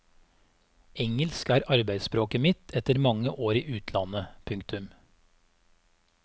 Engelsk er arbeidsspråket mitt etter mange år i utlandet. punktum